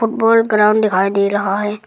अ बड़ ग्राउंड दिखाई दे रहा है।